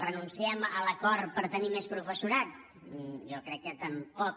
renunciem a l’acord per tenir més professorat jo crec que tampoc